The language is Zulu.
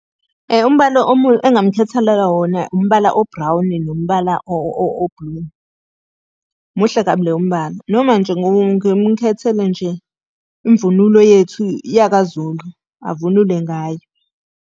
Umbala engingamkhetheleka wona umbala o-brown nombala o-blue. Muhle kabi leyo mibala, noma nje ngimukhethele nje imvunulo yethu yakaZulu, avunule ngayo.